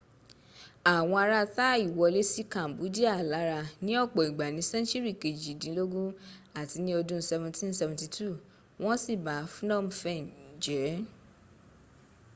àwọn ara thai wolé sí cambodia lára ní ọ̀pọ̀ ìgbà ni sẹńtúrì kejìdínlógún àti ni ọdún 1772 wọ́n siba phnom phen jẹ́